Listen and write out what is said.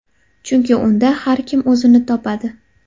Chunki unda har kim o‘zini topadi.